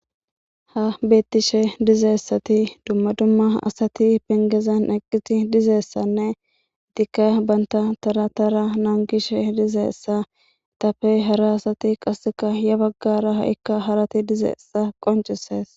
ha beettishe dizeessati dumma dumma asati pengezan eqqiti dizeessanne dikka banta tara tara naangishe dizeessa tapey hara asati qasseka ya baggara ha7ikka harati dizeessa qoncises